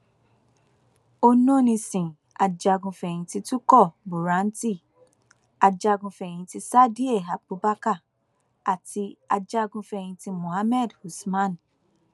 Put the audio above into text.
ononísìn ajagunfẹyìntì turkur buranti ajagunfẹyìntì sadìẹ àbùbakar àti ajagunfẹyìntì muhammed usman